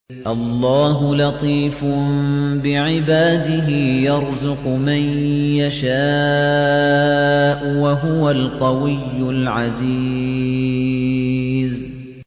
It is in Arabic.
اللَّهُ لَطِيفٌ بِعِبَادِهِ يَرْزُقُ مَن يَشَاءُ ۖ وَهُوَ الْقَوِيُّ الْعَزِيزُ